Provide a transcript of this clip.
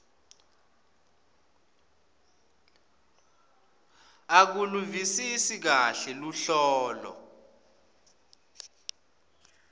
akaluvisisi kahle luhlobo